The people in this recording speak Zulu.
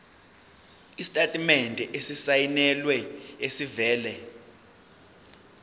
isitatimende esisayinelwe esivela